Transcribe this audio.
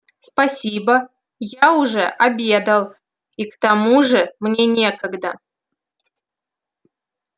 спасибо я уже обедал и к тому же мне некогда